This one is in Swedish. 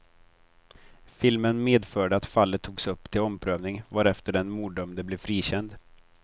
Filmen medförde att fallet togs upp till omprövning, varefter den morddömde blev frikänd.